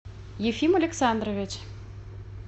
ефим александрович